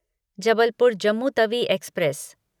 Jabalpur Jammu Tawi express